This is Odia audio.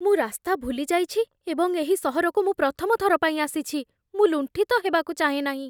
ମୁଁ ରାସ୍ତା ଭୁଲି ଯାଇଛି ଏବଂ ଏହି ସହରକୁ ମୁଁ ପ୍ରଥମ ଥର ପାଇଁ ଆସିଛି। ମୁଁ ଲୁଣ୍ଠିତ ହେବାକୁ ଚାହେଁ ନାହିଁ।